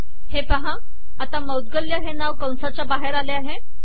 हे पाहा आता मौद्गल्य हे नाव कंसाच्या बाहेर आले आहे